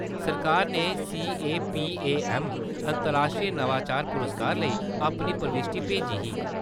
सरकार ने सी.ए.पी.ए.ऐम्म. अंतर्राश्ट्री नवाचार पुरस्कार लेई अपनी प्रविश्ठी भेजी ही।